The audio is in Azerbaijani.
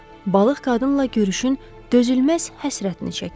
balıq qadınla görüşün dözülməz həsrətini çəkir.